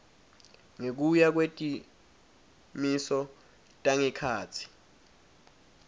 ngekuya kwetimiso tangekhatsi